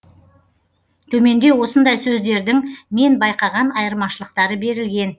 төменде осындай сөздердің мен байқаған айырмашылықтары берілген